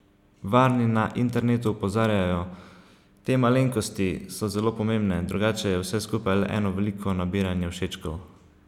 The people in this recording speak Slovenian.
Varni na internetu opozarjajo: "Te 'malenkosti' so zelo pomembne, drugače je vse skupaj le eno veliko nabiranje všečkov.